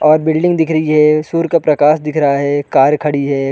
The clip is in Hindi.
और बिल्डिंग दिख रही है सूर्य का प्रकाश दिख रहा है कार खड़ी हैं ।